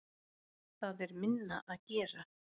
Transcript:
Það er minna að gera.